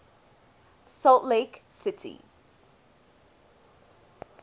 salt lake city